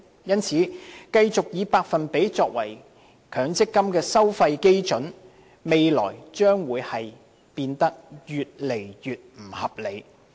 因此，如繼續以百分比作為強積金收費基準，未來將變得越來越不合理。